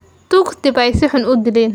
Tuugtii baa si xun uu dileen.